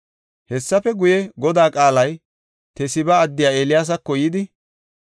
Hessafe guye Godaa qaalay Tesiba addiya Eeliyaasako yidi,